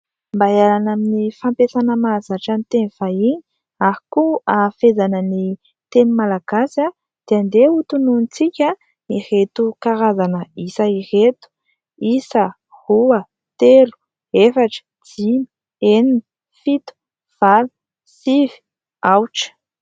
Mba hialana amin'ny fampiasana mahazatra ny teny vahiny ary koa hahafehezana ny teny malagasy dia andeha ho tononintsika ireto karazana isa ireto : isa, roa, telo, efatra, dimy, enina, fito, valo, sivy, aotra.